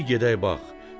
bir gedək bax.